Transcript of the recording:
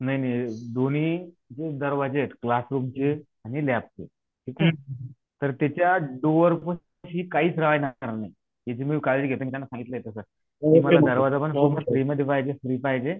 नाही नाही दोन्ही दरवाजे क्लासरूमचे आणि लॅबचे तर त्याच्या दोरशी काहीच अडणार नाही काळजी घेत त्यांना सागितलं तसं कि माल दरवाजापण पाहिजे